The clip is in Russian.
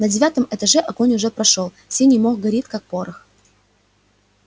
на девятом этаже огонь уже прошёл синий мох горит как порох